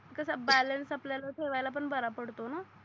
कसा बॅलेन्स आपल्या ठेवयाला पण बरा पडतो णा